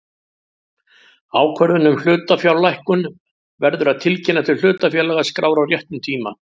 Ákvörðun um hlutafjárlækkun verður að tilkynna til hlutafélagaskrár á réttum tíma.